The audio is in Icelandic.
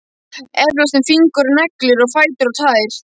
Efast um fingur og neglur og fætur og tær.